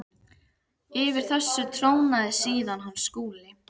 Yfir þessu trónaði síðan hann Skúli.